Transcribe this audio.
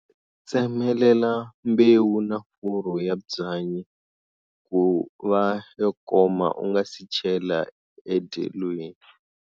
Tsemelela mbewu na furu ya byanyi ku va yo koma u nga si chela endyelweni.